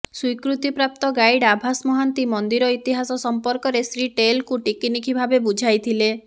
ସ୍ୱୀକୃତି୍ରାପ୍ତ guide Abhas Mohanty ମନ୍ଦିର ଇତିହାସ ସମ୍ପର୍କରେ ଶ୍ରୀ ଟେଲଙ୍କୁ ଟିକିନିଖି ଭାବେ ବୁଝାଇଥିଲେ